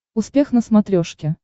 успех на смотрешке